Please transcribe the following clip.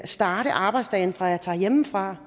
starte arbejdsdagen hjemmefra